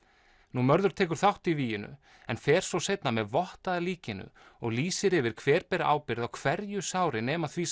mörður tekur þátt í víginu en fer svo seinna með vott að líkinu og lýsir því yfir hver beri ábyrgð á hverju sári nema því